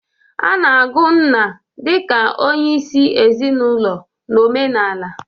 A na-agụ nna dị ka onyeisi ezinaụlọ na omenala.